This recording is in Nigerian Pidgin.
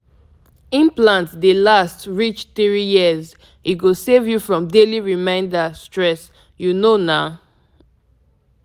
to um get implant no be um wahala e dey easy to manage for belle control like say you no even dey try.